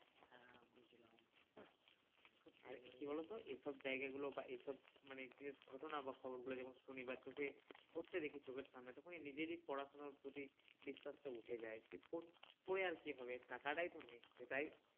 আর কি বলত এইসব জায়গা গুলো বা এইসব মানে জিনিস ঘটনা বা খবর গুলো যখন শুনি বা চোখে ঘটতে দেখি চোখের সামনে তখন নিজেরই এই পড়াশোনার প্রতি বিশ্বাস টা উঠে যাই যে পরে আর কি হবে টাকা তাই তো নেই সেটাই